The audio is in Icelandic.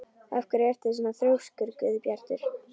Af hverju ertu svona þrjóskur, Guðbjartur?